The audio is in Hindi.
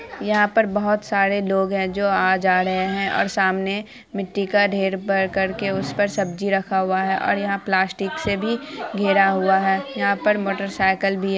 यहाँ पर बोहत सारे लोग हैं जो आ जा रहे हैं। और सामने मिट्टी का ढेर भरकर के उस पर सब्जी रखा हुआ है। और यहाँ प्लास्टिक से भी घेरा हुआ है। यहाँ पर मोटर साइकल भी है।